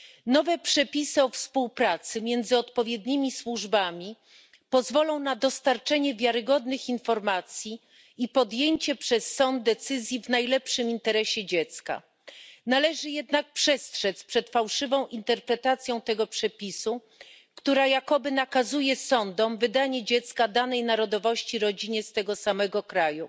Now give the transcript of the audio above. Nowe przepisy o współpracy między odpowiednimi służbami pozwolą na dostarczenie wiarygodnych informacji i podjęcie decyzji przez sąd w najlepszym interesie dziecka. Należy jednak przestrzec przed fałszywą interpretacją tego przepisu, który jakoby nakazuje sądom wydanie dziecka danej narodowości rodzinie z tego samego kraju.